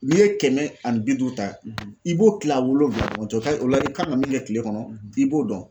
N'i ye kɛmɛ ani bi duu ta i b'o kila wolonwula ɲɔgɔn cɛ o ka o la i kan ka min kɛ kile kɔnɔ i b'o dɔn.